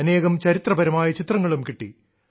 അനേകം ചരിത്രപരമായ ചിത്രങ്ങളും കിട്ടി